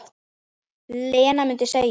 Lena mundi segja.